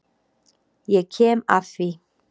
Ég kem að því.